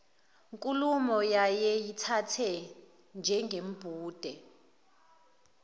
nkulumo wayeyithatha njengembude